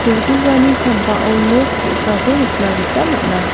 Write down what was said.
ulgugani sambao nok ge·sako nikna gita man·a.